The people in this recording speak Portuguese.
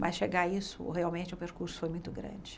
Mas chegar a isso, realmente, o percurso foi muito grande.